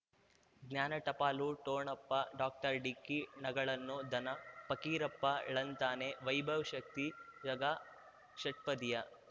ಜ್ಞಾನ ಟಪಾಲು ಠೊಣಪ ಡಾಕ್ಟರ್ ಢಿಕ್ಕಿ ಣಗಳನು ಧನ ಫಕೀರಪ್ಪ ಳಂತಾನೆ ವೈಭವ್ ಶಕ್ತಿ ಝಗಾ ಷಟ್ಪದಿಯ